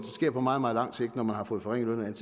sker på meget meget lang sigt når man har fået forringet